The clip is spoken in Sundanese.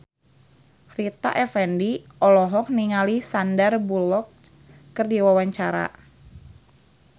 Rita Effendy olohok ningali Sandar Bullock keur diwawancara